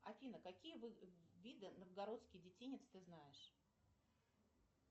афина какие виды новгородский детинец ты знаешь